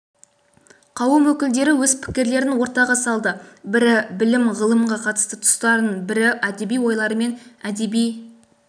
қауым өкілдері өз пікірлерін ортаға салды бірі білім-ғылымға қатысты тұстарын бірі әдеби ойлары мен әдеби